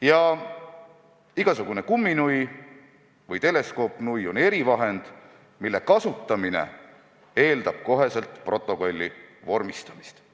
Ja igasugune kumminui või teleskoopnui on erivahend, mille kasutamine eeldab kohe protokolli vormistamist.